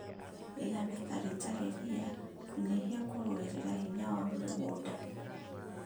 Iga natharĩ ĩtarĩ ria kũnyihia kũrũĩrĩra hinya wa mũgũnda